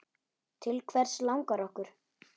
Til hvers langar okkur?